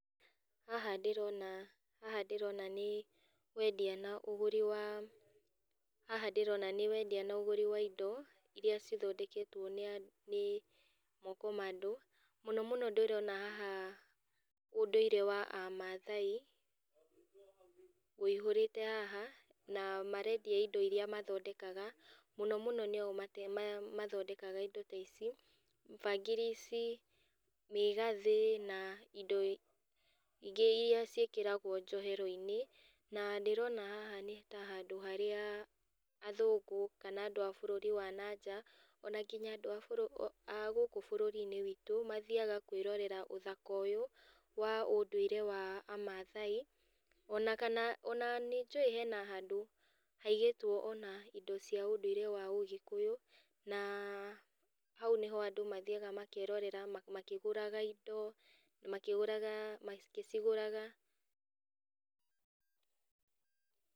Haha ndĩrona haha ndĩrona nĩ, wendia na ũgũri wa, haha ndĩrona nĩwendia na ũgũri wa indo, iria cithondeketwo nĩa nĩ moko ma andũ, mũno mũno ndĩrona haha ũndũire wa amathai, ũihũrĩte haha, na marendia indo iria mathondekaga, mũno mũno nĩo mate ma mathondekaga indo ta ici, bangiri ici, mĩgathĩ, na indo ingĩ iria ciĩkĩragwo njoheroinĩ, na ndĩrona haha nĩta handũ harĩa athũngũ kana andũ a bũrũri wa nanja, ona nginya andũ a o a gũkũ bũrũrinĩ witũ, mathiaga kwĩrorera ũthaka ũyũ wa ũndũire wa amathai, ona kana ona ninjũĩ hena handũ haigĩtwo ona indo cia ũndũire wa agĩkũyũ, na hau nĩho andũ mathiaga makerorera makĩgũraga indo makĩgũraga makĩcigũraga.